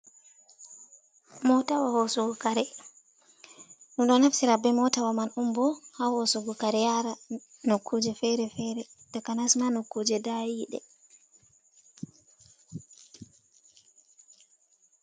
Mootawa hoosugo kare, min ɗo naftira bee mootawa man on bo haa hoosugo kare yaara nokkuuje feere-feere, takanas ma nokkuuje daayiiɗe.